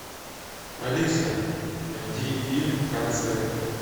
алиса найди фильм концерт